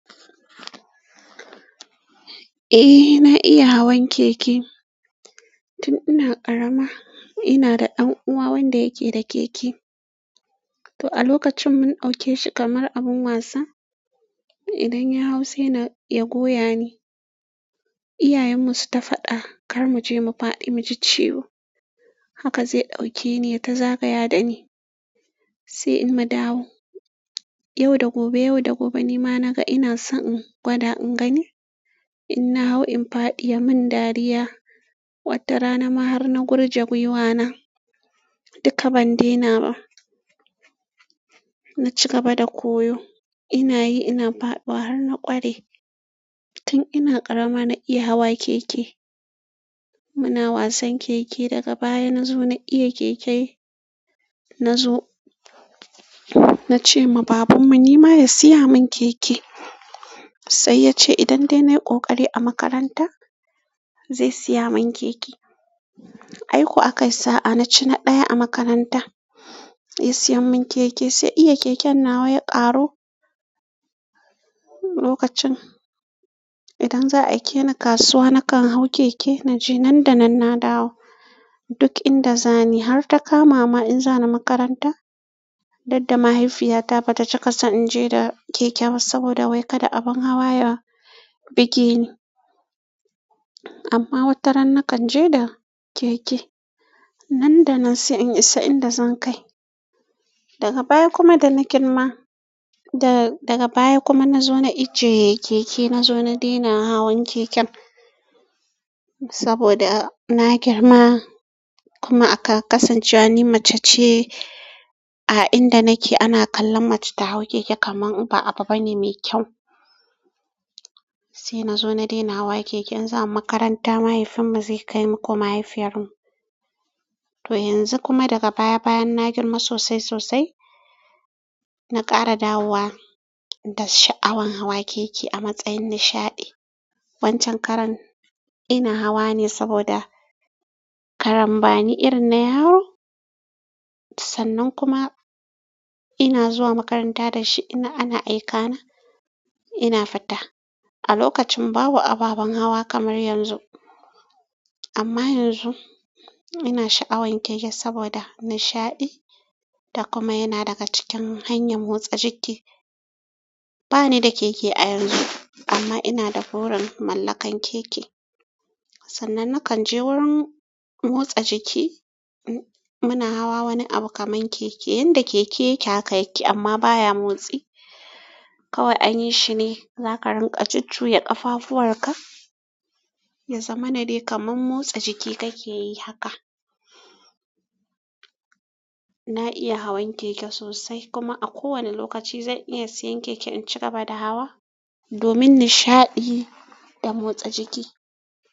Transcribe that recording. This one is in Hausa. Eh na iya hawan keke. Tun ina ƙarama ina da ɗan uwa wanda yake da keke, to a lokacin mun ɗazuke shi kamar abun wasa. Idan ya hau sai na ya goya ni. Iyayenmu su ta faɗa kar mu je mu faɗi, mu ji ciwo. Haka zai ɗauke ni ya ta zagayawa da ni, sai in mun gama, dawo. Yau da gobe, yau da gobe ni ma na ga ina so in gwada in gani in na hau in faɗi ya mun dariya. Wata rana ma har na gurje gwiwana duka ban dena ba. Na ci gaba da koyo, ina yi ina fadu har na ƙware. Tun ina ƙarama na iya hawa keke. Muna wasan keke daga baya na zo na iya keke. Na zo na ce ma babanmu ni ma ya siya mun keke, sai ya ce idan dai nayi ƙoƙari a makaranta zai siya mun keke. Ai ko aka yi sa'a na ci na ɗaya a makaranta, ya siyan mun keke. Sai iya keken na wai ya ƙaru. Lokacin idan za a aike ni kasuwa, na kan hau keke na je nan da nan na dawo. Duk inda zani har ta kama ma in za ni makaranta. Dauk da mahaifiyata bata cika son in je da keke ba saboda wai kada abin hawa ya bugi ni. Amma wata ran na kan je da keke, nan da nan sai in isa inda zan kai. Daga baya kuma da na girma, da-daga baya kuma na zo na ijiye keke. Na zo na dena hawan keken saboda na girma kuma aka kasance wa ni mace ce. A inda nake ana kallon mace ta hau keke kamar ba abu bane mai kyau. Sai na zo na dena hawa keke. In za mu makaranta, mahaifinmu zai kai mu ko mahaifiyar mu. To yanzu kuma daga baya bayan na girma sosai sosai. Na ƙara dawowa da sha'awan hawa keke a matsayin nishaɗi. Wancan karan ina hawa ne saboda karan bani irin na yaro. Sannan kuma ina zuwa makaranta da shi, ina ana aika na ina fita. A lokacin babu ababen hawa kamar yanzu. Amma yanzu ina sha'awan keke saboda nishaɗi da kuma yana daga cikin hanyar motsa jiki. Ba ni da keke a yanzu amma ina da burin mallakar keke. Sannan na kan je wurin motsa jiki. Muna hawa wani abu kamar keke, inda keke yake haka yake amma baya motsi. Kawai anyi shine za ka rinƙa jujjuya ƙafafuwar ka, ya zama na dai kamar motsa jiki kake yi haka. Na iya hawan keke sosai kuma a kowane lokaci zan iya siyan keke in cigaba da hawa domin nishaɗi da motsa jiki.